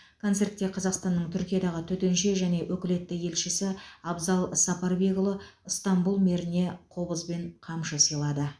концертте қазақстанның түркиядағы төтенше және өкілетті елшісі абзал сапарбекұлы ыстанбұл мэріне қобыз бен қамшы сыйлады